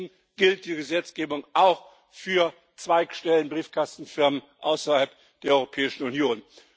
Deswegen gilt die Gesetzgebung auch für Zweigstellen, Briefkastenfirmen außerhalb der Europäischen Union.